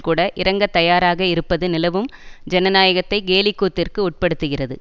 கூட இறங்கத் தயாராக இருப்பது நிலவும் ஜனநாயகத்தை கேலிக்கூத்திற்கு உட்படுத்துகிறது